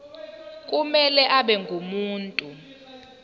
kumele abe ngumuntu